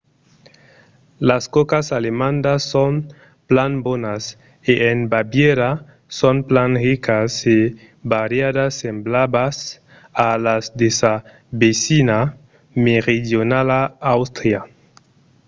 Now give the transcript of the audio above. las còcas alemandas son plan bonas e en bavièra son plan ricas e variadas semblablas a las de sa vesina meridionala àustria